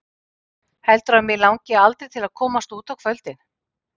Heldurðu að mig langi aldrei til að komast út á kvöldin?